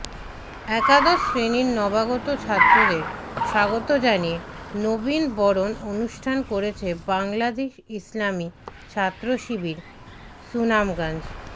একাদশ শ্রেণীর নবাগত ছাত্রদের স্বাগত জানিয়ে নবীন বরণ অনুষ্ঠান করেছে বাংলাদেশ ইসলামী ছাত্রশিবির সুনামগঞ্জ